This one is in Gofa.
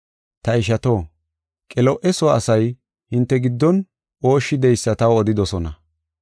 Ta ishato, Qelo7e soo asay hinte giddon ooshshi de7eysa taw odidosona.